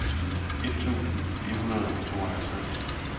et tusind fire hundrede og tooghalvtreds